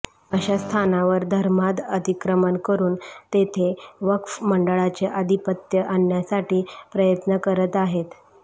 अशा स्थानावर धर्मांध अतिक्रमण करून तेथे वक्फ मंडळाचे आधिपत्य आणण्यासाठी प्रयत्न करत आहेत